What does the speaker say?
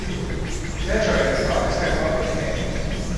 Klečal je in roke stegoval proti nebu.